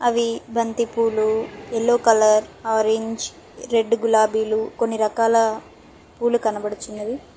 అవి బంతి పూలు ఎల్లో కలర్ ఆరేంజ్ రెడ్ గులాబీలు కొన్ని రకాల పూలు కనబడచున్నవి.